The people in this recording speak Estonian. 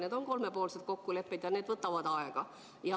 Need on kolmepoolsed kokkulepped ja need võtavad aega.